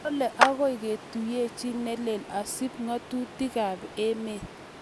Kole agoi kotoi kotuiyetnyi neleel akosub ng'atutikab emet